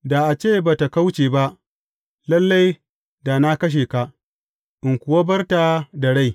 Da a ce ba tă kauce ba, lalle da na kashe ka, in kuwa bar ta da rai.